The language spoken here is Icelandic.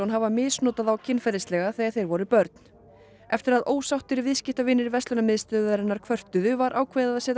hafi misnotað þá kynferðislega þegar þeir voru börn eftir að ósáttir viðskiptavinir verslunarmiðstöðvarinnar höfðu kvörtuðu var ákveðið að setja